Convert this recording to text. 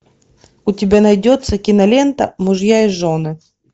у тебя найдется кинолента мужья и жены